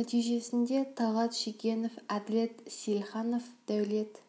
нәтижесінде талғат шегенов әділет сейілханов дәулет